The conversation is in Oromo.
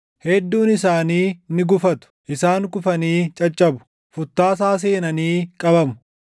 Hedduun isaanii ni gufatu; isaan kufanii caccabu; futtaasaa seenanii qabamu.”